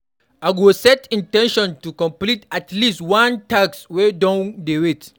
I go set in ten tion to complete at least one task wey don dey wait.